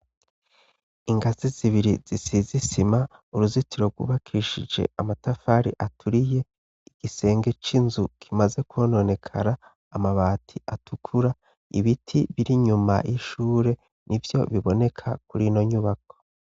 Ingazi zibiri zisize isima, uruzitiro rwubakishije amatafari aturiye, igisenge c'inzu kimaze kwononekara, amabati atukura, ibiti biri inyuma y'ishure, nivyo biboneka kuri ino nyubako.